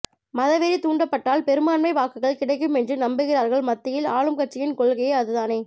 மதவெறி தூண்டப்பட்டால் பெரும்பான்மை வாக்குகள் கிடைக்கும் என்று நம்புகிறார்கள் மத்தியில் ஆளும் கட்சியின் கொள்கையே அதுதானே